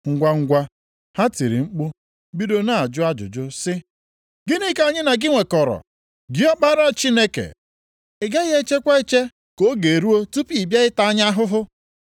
Ngwangwa, ha tiri mkpu bido na-ajụ ajụjụ sị, “Gịnị ka anyị na gị nwekọrọ, gị Ọkpara Chineke? Ị gaghị echekwa eche ka oge ruo tupu ibido ịta anyị ahụhụ?”